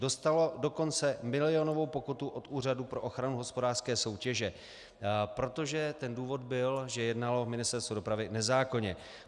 Dostalo dokonce milionovou pokutu od Úřadu pro ochranu hospodářské soutěže, protože ten důvod byl, že jednalo Ministerstvo dopravy nezákonně.